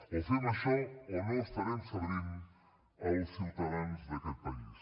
o fem això o no estarem servint els ciutadans d’aquest país